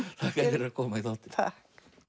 fyrir að koma í þáttinn takk